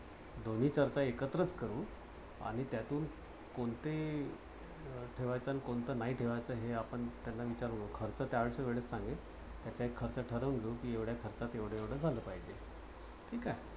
दोन्ही करता एकत्रच करू आणि त्यातून कोणतं हे ठेवायचं आणि कोणतं नाही ठेवायचं. हे आपण त्यांना विचारून खर्च त्यात्या वेळेस सांगू. तर तो एक खर्च ठरवून घेऊ कि एवड्या खर्चात एव्हढ एवढ झालं पाहिजे. ठीक आहे.